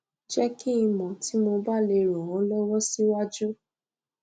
jẹ kí n mọ tí mo bá lè ran ọ lọwọ síwájú